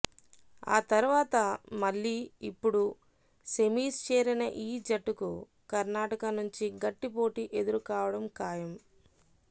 ఆతర్వాత మళ్లీ ఇప్పుడు సెమీస్ చేరిన ఈ జట్టుకు కర్నాటక నుంచి గట్టిపోటీ ఎదురుకావడం ఖాయం